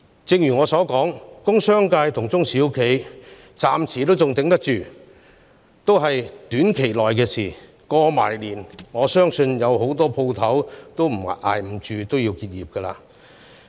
正如我之前所言，工商界和中小企暫時仍能支撐着，但這只是短暫的，在農曆新年後，我相信不少店鋪也無法繼續支撐下去而結業。